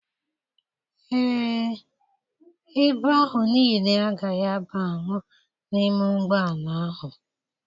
Ee, ibu ahụ niile agaghị abanwu n'ime ụgbọala ahụ.